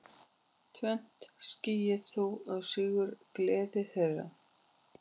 Tvennt skyggði þó á sigurgleði þeirra.